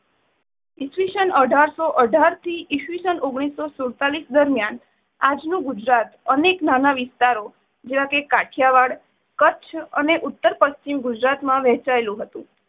ઇસવિષન અઠાર શો અઠાર થી ઇસવિસન ઓગણીસો સુડ્તાલીશ દરમિયાન આજનું ગુજરાત અનેક નાના વિસ્તારો જેવાકે કાઠિયાવાડ, કચ્છ અને ઉત્તર પશ્ચિમ ગુજરાતમાં વહેંચાયેલું હતું.